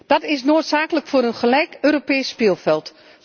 Dat is noodzakelijk voor een gelijk Europees speelveld.